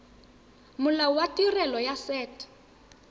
molao wa tirelo ya set